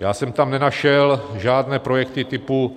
Já jsem tam nenašel žádné projekty typu